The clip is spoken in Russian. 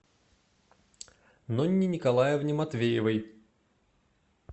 нонне николаевне матвеевой